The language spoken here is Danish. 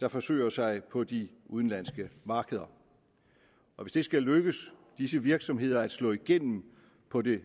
der forsøger sig på de udenlandske markeder og hvis det skal lykkes disse virksomheder at slå igennem på de